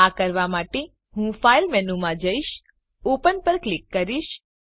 આ કરવા માટે હું ફાઈલ મેનૂમાં જઈશ ઓપન પર ક્લિક કરીશ